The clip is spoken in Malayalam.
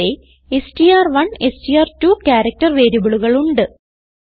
ഇവിടെ str1എസ്ടിആർ2 ക്യാരക്റ്റർ വേരിയബിളുകൾ ഉണ്ട്